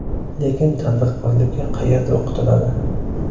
Lekin tadbirkorlikka qayerda o‘qitiladi?